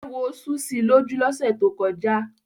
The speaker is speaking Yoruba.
Éwo sú si lójú lọ́sẹ̀ tó kọjá.